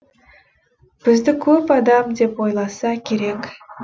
бізді көп адам деп ойласа керек